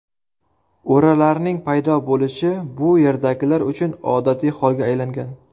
O‘ralarning paydo bo‘lishi bu yerdagilar uchun odatiy holga aylangan.